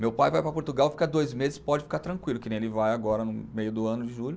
Meu pai vai para Portugal, fica dois meses, pode ficar tranquilo, que nem ele vai agora no meio do ano de julho.